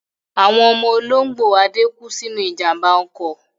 Àwọn ọmọ olóńgbò Ade kú sínú ìjàmbá ọkọ̀.